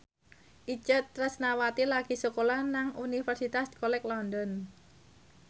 Itje Tresnawati lagi sekolah nang Universitas College London